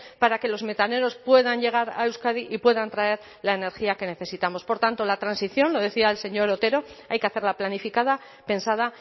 para que los metaneros puedan llegar a euskadi y puedan traer la energía que necesitamos por tanto la transición lo decía el señor otero hay que hacerla planificada pensada